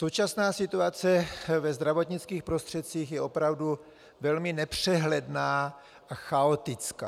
Současná situace ve zdravotnických prostředcích je opravdu velmi nepřehledná a chaotická.